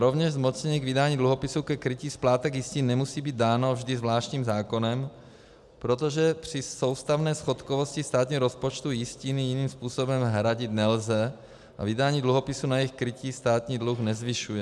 Rovněž zmocnění k vydání dluhopisů ke krytí splátek jistin nemusí být dáno vždy zvláštním zákonem, protože při soustavné schodkovosti státního rozpočtu jistiny jiným způsobem hradit nelze a vydání dluhopisů na jejich krytí státní dluh nezvyšuje.